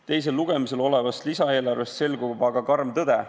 Teisel lugemisel olevast lisaeelarvest selgub aga karm tõde.